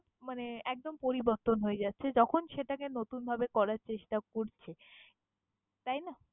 মানে একদম পরিবর্তন হয়ে যাচ্ছে যখন, সেটাকে নতুনভাবে করার চেষ্টা করছে, তাই না?